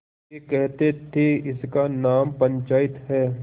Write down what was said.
वे कहते थेइसका नाम पंचायत है